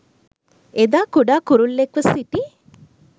එදා කුඩා කුරුල්ලෙක්ව සිටි